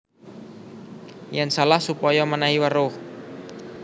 Yèn salah supaya mènèhi weruh